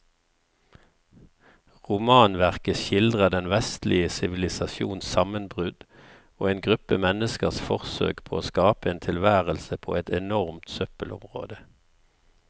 Romanverket skildrer den vestlige sivilisasjons sammenbrudd og en gruppe menneskers forsøk på å skape en tilværelse på et enormt søppelområde.